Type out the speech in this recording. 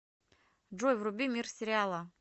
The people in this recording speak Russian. джой вруби мир сериала